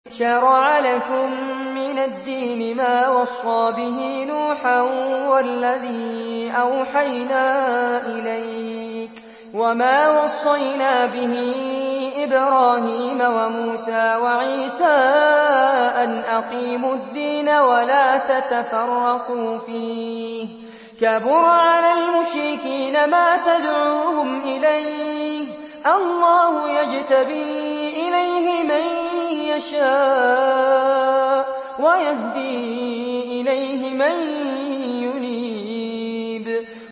۞ شَرَعَ لَكُم مِّنَ الدِّينِ مَا وَصَّىٰ بِهِ نُوحًا وَالَّذِي أَوْحَيْنَا إِلَيْكَ وَمَا وَصَّيْنَا بِهِ إِبْرَاهِيمَ وَمُوسَىٰ وَعِيسَىٰ ۖ أَنْ أَقِيمُوا الدِّينَ وَلَا تَتَفَرَّقُوا فِيهِ ۚ كَبُرَ عَلَى الْمُشْرِكِينَ مَا تَدْعُوهُمْ إِلَيْهِ ۚ اللَّهُ يَجْتَبِي إِلَيْهِ مَن يَشَاءُ وَيَهْدِي إِلَيْهِ مَن يُنِيبُ